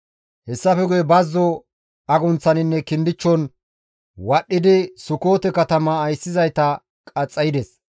Hessafe guye bazzo agunththaninne kindichchon wadhdhidi Sukoote katama ayssizayta qaxxaydes.